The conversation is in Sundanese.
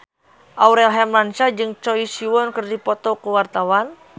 Aurel Hermansyah jeung Choi Siwon keur dipoto ku wartawan